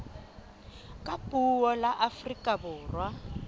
ka puo la afrika borwa